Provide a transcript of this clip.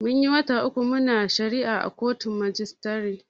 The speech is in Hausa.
Munyi wata uku muna shari'a a kotun majistare.